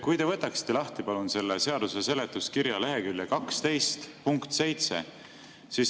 Kui te võtaksite lahti, palun, selle seaduse seletuskirja lehekülje 12 punkti 7.